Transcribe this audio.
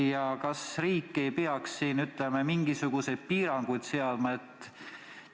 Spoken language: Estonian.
Ja kas riik ei peaks siin mingisuguseid piiranguid seadma?